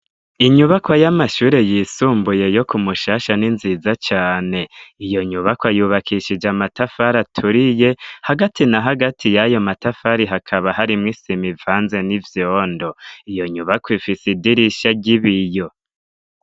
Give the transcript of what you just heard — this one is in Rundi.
Inyubako y'amashure yisumbuye yo ku mushasha n'inziza cane iyo nyubako ayubakishije amatafari aturiye hagati na hagati y'ayo matafari hakaba harimwo isima ivanze n'ivyondo iyo nyubako ifise idirisha ry'ibiyo.